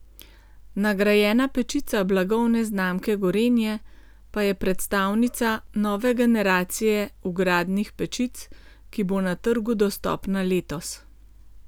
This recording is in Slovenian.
Nagrajena pečica blagovne znamke Gorenje pa je predstavnica nove generacije vgradnih pečic, ki bo na trgu dostopna letos.